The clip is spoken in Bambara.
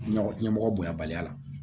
Ɲagam ɲɛmɔgɔ bonya baliya la